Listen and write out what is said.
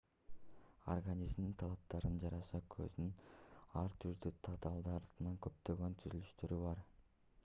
организмдин талаптарына жараша көздүн ар түрдүү татаалдыктагы көптөгөн түзүлүштөрү бар